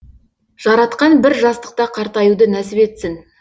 жаратқан бір жастықта қартаюды нәсіп етсін